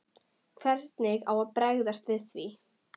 Hvernig á að bregðast við því?